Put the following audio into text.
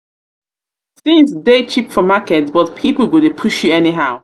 tins dey cheap for market but pipo go dey push you anyhow.